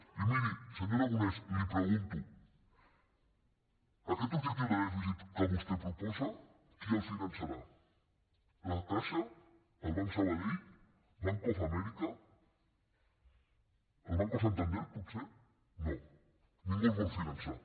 i miri senyor aragonès li pregunto aquest objectiu de dèficit que vostè proposa qui el finançarà la caixa el banc sabadell bank of america el banco santander potser no ningú el vol finançar